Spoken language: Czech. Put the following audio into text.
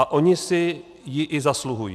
A oni si ji i zasluhují.